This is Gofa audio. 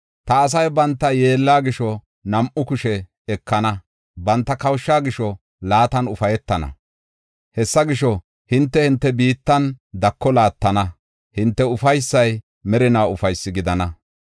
Ta asay banta yeella gisho nam7u kushe ekana; banta kawusha gisho laatan ufaytana. Hessa gisho, hinte enta biittan dako laattana; hinte ufaysay merinaa ufaysi gidana.